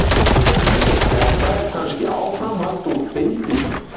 Þetta er kannski áframhald úr deildinni.